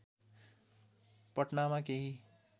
पटनामा केही